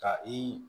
Ka i